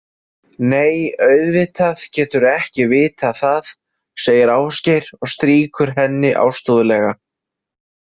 Nei, auðvitað geturðu ekki vitað það, segir Ásgeir og strýkur henni ástúðlega.